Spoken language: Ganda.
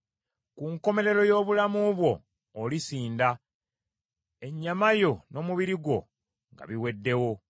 Ku nkomerero y’obulamu bwo olisinda, ennyama yo n’omubiri gwo nga biweddewo.